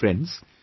Friends,